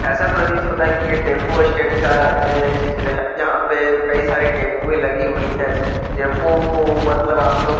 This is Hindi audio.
ऐसा प्रतीत होता है की ये टेम्पू स्टैंड का है चित्र है यहां पे कई सारे टम्पू लगे हुए हैं टम्पू मतलब आपलोग --